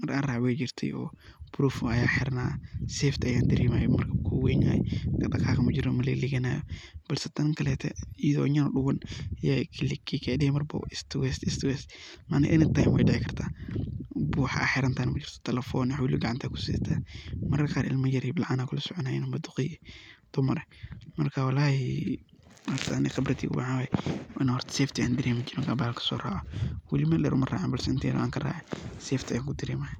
maar an raace wey jirte oo proof aan hirna safety ayan daremaye wax jiraa malahan oo maligliganaya ila midakale ee donta weyligligani oo any time wey dici kartaa wax aad xirantahayna majirto telephone iyo wax waliba gacanta aad kusidata ,mararka qaar ilma yar ,bilcan ama duqey a kulasoconayin .Muhimadu maxa weye horta inan safety aan daremayo oo waligey mel dheer uma racin balse inta yar oo aan ka raace safety ayan ku daremaya.